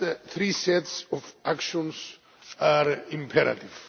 Three sets of actions are imperative.